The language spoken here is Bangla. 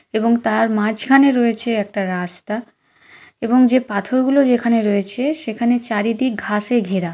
এবং তার মাঝখানে রয়েছে একটা রা-স্তা- এবং যে পাথরগুলো যেখানে রয়েছে সেখানে চারিদিক ঘাসে ঘেরা।